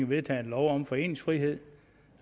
vedtaget en lov om foreningsfrihed